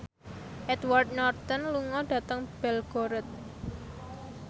Edward Norton lunga dhateng Belgorod